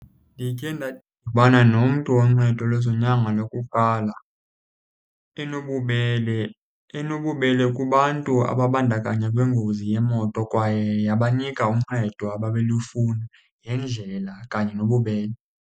Ndikhe ndadibana nomntu woncedo lwezonyango lokuqala enobubele, enobubele kubantu ababandakanya kwingozi yemoto kwaye yabanika uncedo ababelufuna ngendlela kanye nobubele.